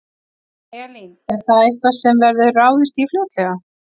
Elín: Er það eitthvað sem verður ráðist í fljótlega?